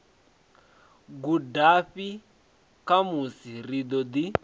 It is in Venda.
gudafhi khamusi ri ḓo ḓi